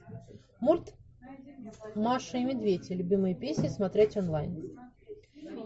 мульт маша и медведь любимые песни смотреть онлайн